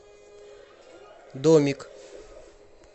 домик